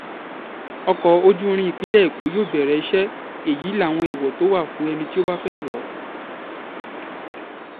ọkọ̀ ojú irin ìpínlẹ̀ èkó yóò bẹ̀rẹ̀ iṣẹ́ èyí láwọn èèwọ̀ tó wà fún ẹni tó bá fẹ́ẹ́ wọ̀ ọ́